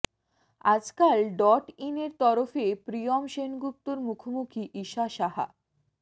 আজকাল ডট ইনের তরফে প্রিয়ম সেনগুপ্তর মুখোমুখি ঈশা সাহা